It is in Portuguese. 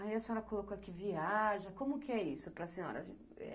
Aí a senhora colocou aqui, viaja, como que é isso para senhora?